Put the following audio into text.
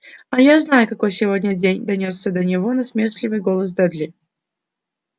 а я знаю какой сегодня день донёсся до него насмешливый голос дадли